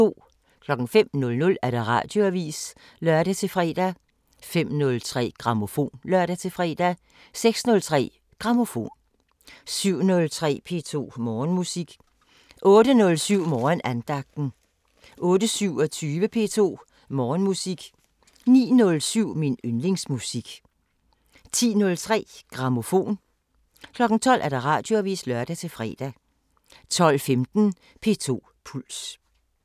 05:00: Radioavisen (lør-fre) 05:03: Grammofon (lør-fre) 06:03: Grammofon 07:03: P2 Morgenmusik 08:07: Morgenandagten 08:27: P2 Morgenmusik 09:07: Min yndlingsmusik 10:03: Grammofon 12:00: Radioavisen (lør-fre) 12:15: P2 Puls